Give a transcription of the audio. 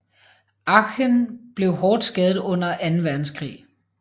Aachen blev hårdt skadet under Anden Verdenskrig